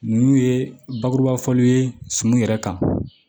Ninnu ye bakuruba fɔliw ye suman yɛrɛ kan